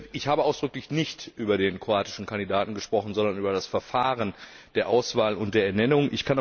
Ich habe ausdrücklich nicht über den kroatischen Kandidaten gesprochen, sondern über das Verfahren der Auswahl und der Ernennung.